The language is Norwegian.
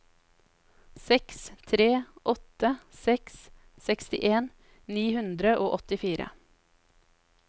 seks tre åtte seks sekstien ni hundre og åttifire